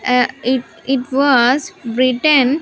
Ah it it was written --